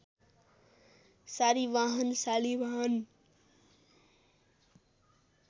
सारीबाहन Shalivahana